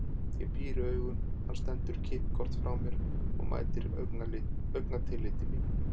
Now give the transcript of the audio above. Ég píri augun, hann stendur kippkorn frá mér og mætir augnatilliti mínu.